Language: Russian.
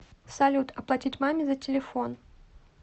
салют оплатить маме за телефон